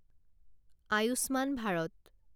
Ayushman Bharat